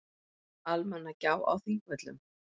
Almannagjá á Þingvöllum.